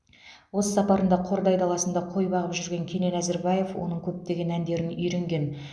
осы сапарында қордай даласында қой бағып жүрген кенен әзірбаев оның көптеген әндерін үйренген